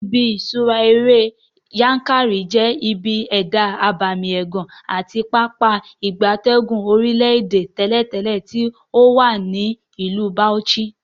Ibi ifiṣura ere Yankari je ibi eda abemi egan ati Pápá ìgbatẹ́gùn orile-ede teletele ti owa ni Ilu Bauchi.